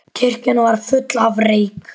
Kirkjan var full af reyk.